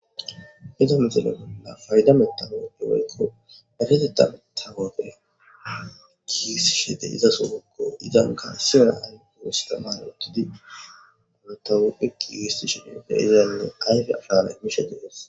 Heza mixele bolla fayda metago ewoykko bareteta metagofe kiisishede iza sogokko izan kaa siyara an go hustaman uttudi unotauppekiigisti shinimefe izaynne ayfe arana imishe dees.